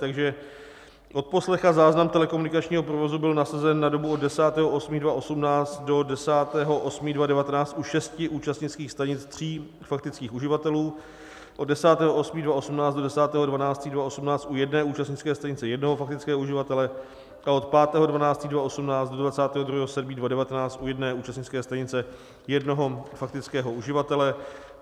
Takže odposlech a záznam telekomunikačního provozu byl nasazen na dobu od 10. 8. 2018 do 10. 8. 2019 u šesti účastnických stanic tří faktických uživatelů, od 10. 8. 2018 do 10. 12. 2018 u jedné účastnické stanice jednoho faktického uživatele a od 5. 12. 2018 do 22. 7. 2019 u jedné účastnické stanice jednoho faktického uživatele.